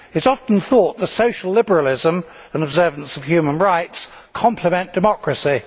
It is often thought that social liberalism and observance of human rights complement democracy.